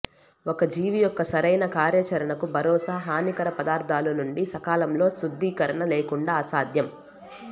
ఒక జీవి యొక్క సరైన కార్యాచరణకు భరోసా హానికర పదార్ధాలు నుండి సకాలంలో శుద్దీకరణ లేకుండా అసాధ్యం